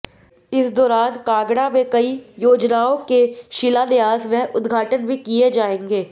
इस दौरान कांगड़ा में कई योजनाओं के शिलान्यास व उद्घाटन भी किए जाएंगे